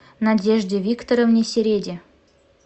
надежде викторовне середе